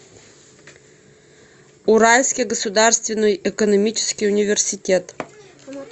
уральский государственный экономический университет